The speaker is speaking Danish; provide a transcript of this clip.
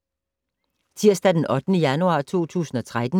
Tirsdag d. 8. januar 2013